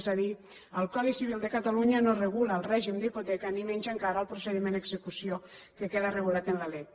és a dir el codi civil de catalunya no regula el règim d’hipoteca ni menys encara el procediment d’execució que queda regulat en la lec